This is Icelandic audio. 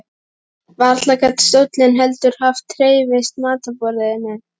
Varla gat stóllinn heldur hafa hreyfst í matarboðinu.